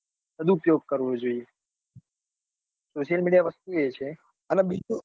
કરવું જોઈએ social media વસ્તુ એ છે. અને બીજું